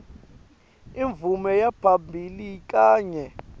imvume yaphambilini kanye